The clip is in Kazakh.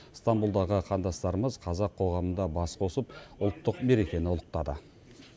ыстамбұлдағы қандастарымыз қазақ қоғамында бас қосып ұлттық мерекені ұлықтады